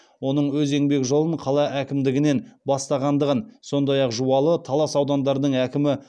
оның өз еңбек жолын қала әкімдігінен бастағандығын сондай ақ жуалы талас аудандарының әкімі